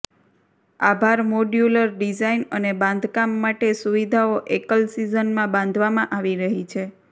આભાર modular design અને બાંધકામ માટે સુવિધાઓ એકલ સિઝન માં બાંધવામાં આવી રહી છે